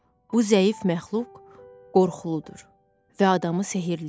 Bu zəif məxluq qorxuludur və adamı sehrləyir.